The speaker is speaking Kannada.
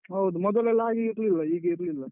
ಹೌದು. ಮೊದಲೆಲ್ಲ ಹಾಗೆ ಇರ್ಲಿಲ್ಲ ಹೀಗೆ ಇರ್ಲಿಲ್ಲ.